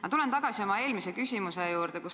Ma tulen tagasi oma eelmise küsimuse juurde.